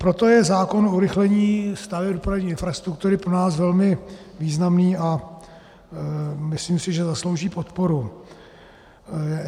Proto je zákon o urychlení staveb dopravní infrastruktury pro nás velmi významný a myslím si, že zaslouží podporu.